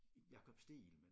Jakob Stegelmann